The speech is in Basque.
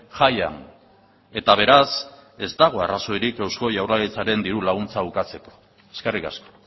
jaian eta beraz ez dago arrazoirik eusko jaurlaritzaren diru laguntza ukatzeko eskerrik asko